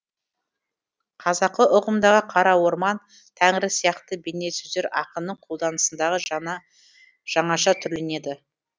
қазақы ұғымдағы қара орман тәңірі сияқты бейне сөздер ақынның қолданысындағы жаңаша түрленеді